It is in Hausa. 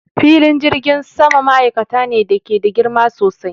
Filin jirgin sama ma'aikata ne da ke da girma sosai